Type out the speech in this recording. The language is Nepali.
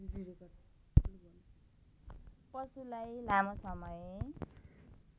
पशुलाई लामो समय